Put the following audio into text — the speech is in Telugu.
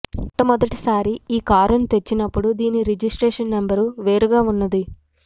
మొట్టమొదటిసారి ఈ కారును తెచ్చినపుడు దీని రిజిస్ట్రేషన్ నంబర్ వేరుగా ఉన్నది